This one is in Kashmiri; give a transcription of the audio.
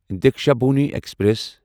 دیکشابھومی ایکسپریس